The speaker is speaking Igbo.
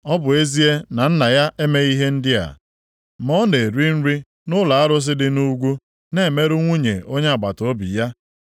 ọ bụ ezie na nna ya emeghị ihe ndị a: “Ma ọ na-eri nri nʼụlọ arụsị dị nʼugwu, na-emerụ nwunye onye agbataobi ya;